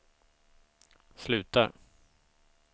slutar